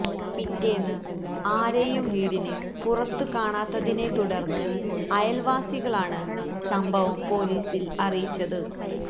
പിറ്റേന്ന് ആരെയും വീടിന് പുറത്ത് കാണാത്തതിനെ തുടര്ന്ന് അയല്വാസികളാണ് സംഭവം പൊലീസില് അറിയിച്ചത്